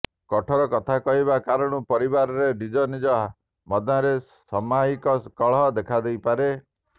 କଠୋର କଥା କହିବା କାରଣରୁ ପରିବାରରେ ନିଜ ନିଜ ମଧ୍ୟରେ ସାମୟିକ କଳହ ଦେଖାଦେଇପାରେ